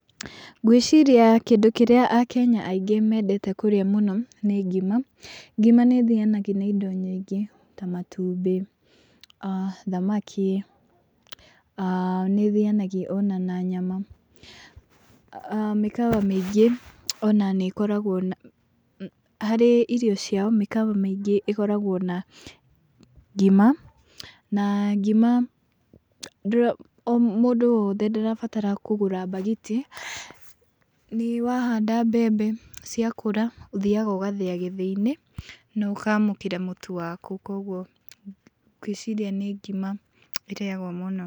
Ngwĩciria kĩndũ kĩrĩa akenya aingĩ mendete kũrĩa mũno nĩ ngima , ngima nĩ ĩthianagia na indo nyingĩ ta matumbĩ, a thamaki aa nĩ ĩthianagia ona na nyama, mĩkawa mĩingĩ ona nĩ ĩkoragwo na harĩ irio ciao mĩkawa mĩingĩ ĩkoragwo na ngima , na ngima mũndũ o wothe ndarabatara kũgũra bagiti, nĩ wahanda mbembe ciakũra ũthĩaga ũgathĩa gĩthĩi-inĩ na ũkamũkĩra mũtu waku, kũgwo ngwĩciria nĩ ngima ĩrĩagwo mũno.